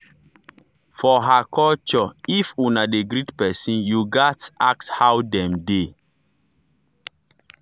for her cultureif una dey greet pesin you gats ask how dem dey.